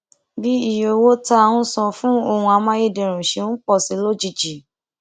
bí iye owó tá à ń san fún ohun amáyédẹrùn ṣe ń pò sí i lójijì